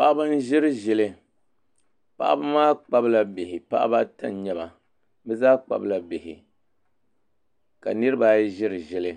Paɣaba n ʒiri ʒili paɣaba maa kpabila bihi paɣaba ata n nyɛba bi zaa kpabila bihi ka niraba ayi ʒiri ʒili